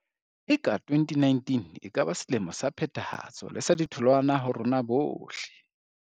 Eka 2019 e ke ba selemo sa phethahatso le sa ditholwana ho rona bohle.